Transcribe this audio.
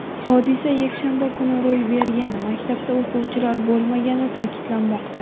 Hodisa yakshanba kuni ro‘y bergani, maktabda o‘quvchilar bo‘lmagani ta’kidlanmoqda.